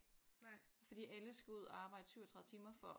Fordi alle skal ud og arbejde 37 timer for